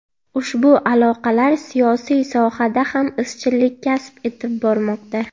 Ushbu aloqalar siyosiy sohada ham izchillik kasb etib bormoqda”.